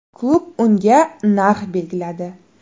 Klub unga narx belgiladi.